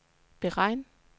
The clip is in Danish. beregn